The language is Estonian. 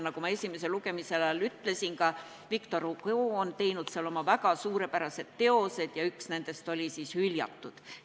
Nagu ma esimese lugemise ajal ütlesin, ka Victor Hugo on kirjutanud seal oma väga suurepärased teosed ja üks nendest oli "Hüljatud".